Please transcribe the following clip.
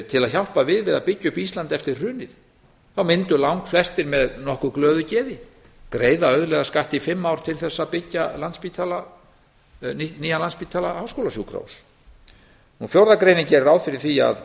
til að hjálpa við við að byggja upp ísland eftir hrunið þá mundu langflestir með nokkuð glöðu geði greiða auðlegðarskatt í fimm ár til þess að byggja nýjan landspítala háskólasjúkrahús fjórða greinin gerir ráð fyrir því